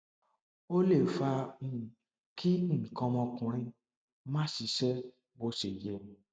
ó lè fa um kí nǹkan ọmọkùnrin má ṣiṣẹ bó ṣe yẹ